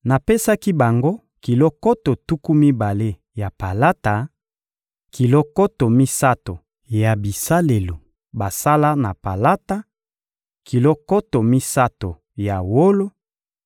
Napesaki bango kilo nkoto tuku mibale ya palata, kilo nkoto misato ya bisalelo basala na palata, kilo nkoto misato ya wolo,